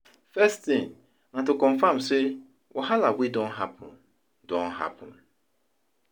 First tin na to confam sey wahala wey don hapun don hapun